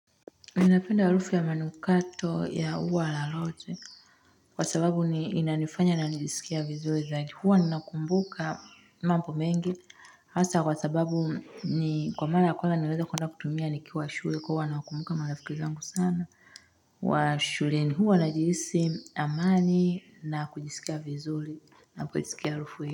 Ninapenda harufu ya manukato ya ua la rozi. Kwa sababu inanifanya najisikia vizuri. Zaji huwa ninakumbuka mambo mengi. Haswa kwa sababu ni kwa mara ya kwanza nilieza kuanzaa kutumia nikiwa shule. Kwa huwa nakumbuka marafiki zangu sana. Wa shuleni huwa najihisi amani na kujisikia vizuri. Na kujisikia harufu hii.